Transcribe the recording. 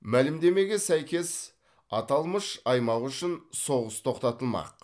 мәлімдемеге сәйкес аталмыш аймақ үшін соғыс тоқтатылмақ